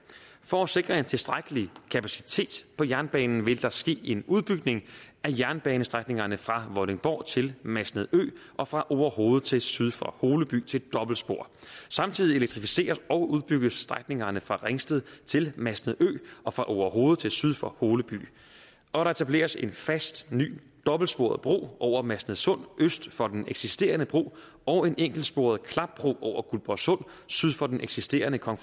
for at sikre en tilstrækkelig kapacitet på jernbanen vil der ske en udbygning af jernbanestrækningerne fra vordingborg til masnedø og fra orehoved til syd for holeby til et dobbeltspor samtidig elektrificeres og udbygges strækningerne fra ringsted til masnedø og fra orehoved til syd for holeby og der etableres en fast ny dobbeltsporet bro over masnedsund øst for den eksisterende bro og en enkeltsporet klapbro over guldborgsund syd for den eksisterende kong